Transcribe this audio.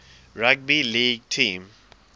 rugby league team